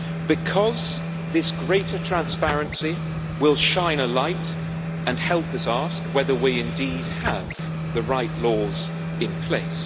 Because this greater transparency will shine a light and help us ask whether we indeed have the right laws in place.